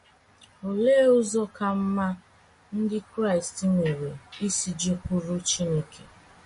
Olee ụzọ ka mma ndị Kraịst nwere isi jekwuru Chineke?